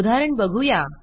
उदाहरण बघू या